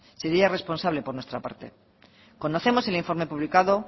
sería irresponsable por nuestra parte conocemos el informe publicado